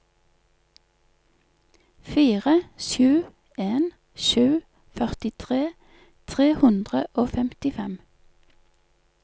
fire sju en sju førtitre tre hundre og femtifem